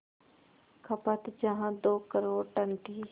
खपत जहां दो करोड़ टन थी